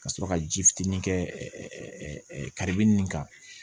Ka sɔrɔ ka ji fitinin kɛ kadi nin kan